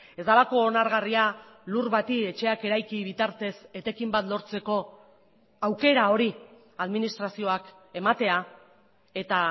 ez delako onargarria lur bati etxeak eraiki bitartez etekin bat lortzeko aukera hori administrazioak ematea eta